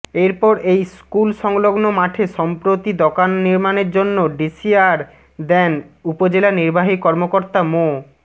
এরপর এই স্কুলসংলগ্ন মাঠে সম্প্রতি দোকান নির্মাণের জন্য ডিসিয়ার দেন উপজেলা নির্বাহী কর্মকর্তা মো